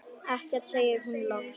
Ekkert, segir hún loks.